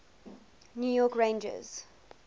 new york rangers